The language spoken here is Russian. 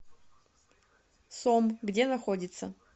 сом где находится